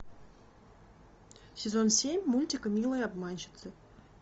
сезон семь мультика милые обманщицы